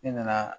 Ne nana